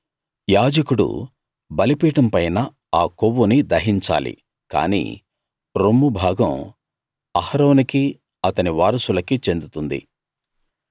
యాజకుడు బలిపీఠం పైన ఆ కొవ్వుని దహించాలి కానీ రొమ్ము భాగం అహరోనుకీ అతని వారసులకీ చెందుతుంది